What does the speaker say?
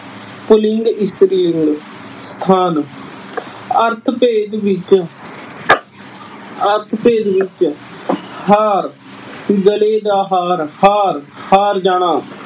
ਪੁਲਿੰਗ ਇਸਤਰੀ ਲਿੰਗ ਖਾਣ ਅਰਥ ਭੇਦ ਵਿੱਚ ਅਰਥ ਭੇਦ ਵਿੱਚ ਹਾਰ-ਗਲੇ ਦਾ ਹਾਰ। ਹਾਰ-ਹਾਰ ਜਾਣਾ।